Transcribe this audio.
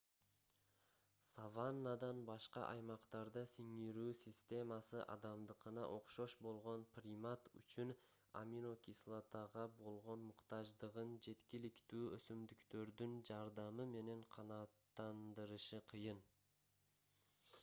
саваннадан башка аймактарда сиңирүү системасы адамдыкына окшош болгон примат үчүн амино-кислотага болгон муктаждыгын жеткиликтүү өсүмдүктөрдүн жардамы менен канааттандырышы кыйын